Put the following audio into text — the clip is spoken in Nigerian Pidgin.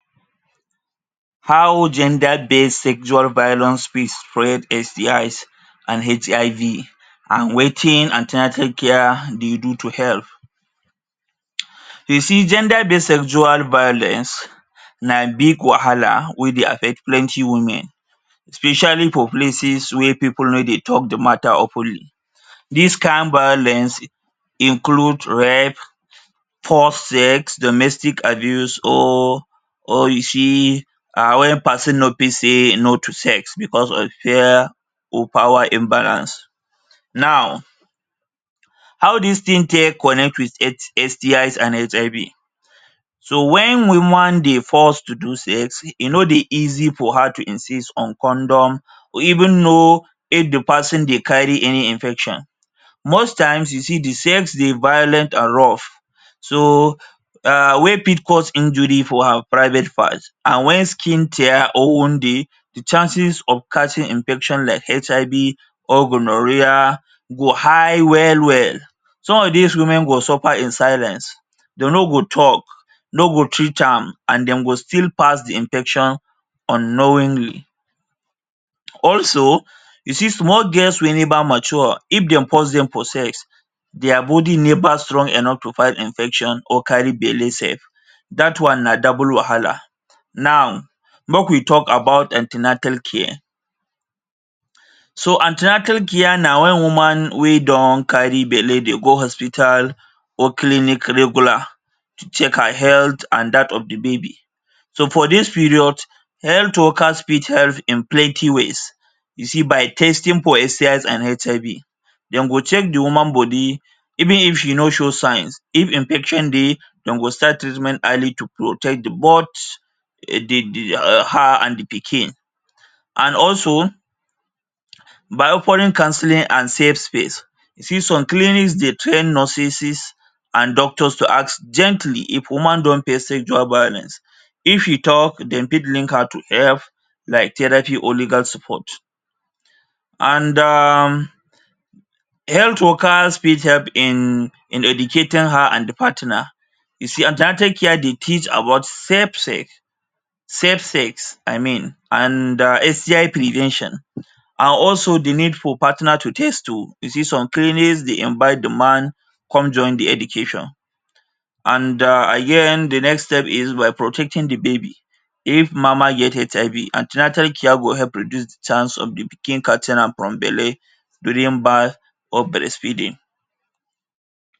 How gender-based sexual violence fit spread STIs and HIV and wetin an ten atal care dey do to help. You see, gender-based sexual violence na big wahala wey dey affect plenty women especially for places where pipu no dey talk the matter openly. This kain violence include rape, forced sex, domestic abuse or or you see a um wen peson no fit say no to sex becos of fear or power imbalance. Now, how dis tin take connect with S STIs and HIV? So, wen woman dey forced to do sex, e no dey easy for her to insist on condom, or even know if the peson dey carry any infection. Most times, you see the sex dey violent and rough. So, um wey fit cause injury for her private part. and wen skin tear or wound dey, the chances of catching infection like HIV or gonorrhoeae go high well-well. Some of dis women go suffer in silence, dey no go talk, no go treat am, and dem go still pass the infection unknowingly. Also, you see small girls wey neva mature, if dem force dem for sex, dia body neva strong enough to fight infection or carry belle sef. Dat one na double wahala. Now, make we talk about an ten atal care. So, an ten atal care na wen woman wey don carry belle dey go hospital or clinic regular to check her health and dat of the baby. So, for dis period, health workers fit help in plenty ways, you see, by testing for STIs and HIV. Dem go check the woman body, even if she no show signs, if infection dey dem go start treatment early to protect the both her an the pikin. An also, by opening counselling and safe space. see, some clinic dey train nurses and doctors to ask gently if woman don face sexual violence If e talk, dem fit link her to help like therapy or legal support. And um, health workers fit help in in educating her and the partner. You see, an ten atal care dey teach about safe sex, safe sex, I mean, and um STI prevention and also the need for partner to test too. You see some clinics dey invite the man come join the education. And um again, the next step is by protecting the baby. If mama get HIV, an ten atal care go help reduce the chance of the pikin catching am from belle, during birth, or breastfeeding.